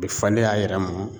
A bɛ falen a yɛrɛ mɔ